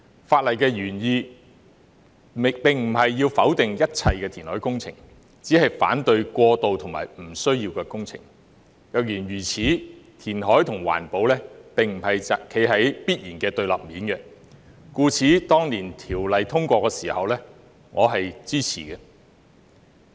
法例的原意並非要否定一切填海工程，只是反對過度和不需要的工程；若然如此，填海與環保並非必然處於對立面，故此當年通過《條例》時，我是支持的。